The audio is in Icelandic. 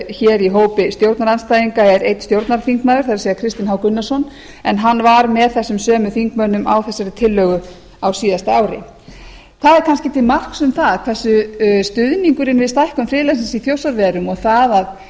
hér í hópi stjórnarandstæðinga er einn stjórnarþingmaður það er kristinn h gunnarsson en hann var með þessum sömu þingmönnum á þessari tillögu á síðasta ári það er kannski til marks um það hversu stuðningurinn við stækkun friðlandsins í þjórsárverum og það að reyna